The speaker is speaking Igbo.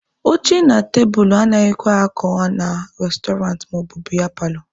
Oche na tebulu anaghịkwa akọ na restọrantị maọbụ biya paalọ.